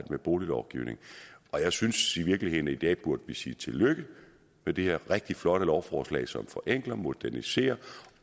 med boliglovgivning jeg synes i virkeligheden at vi i dag burde sige tillykke med det her rigtig flotte lovforslag som forenkler moderniserer